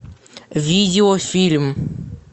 видеофильм